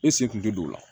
E se kun tɛ don o la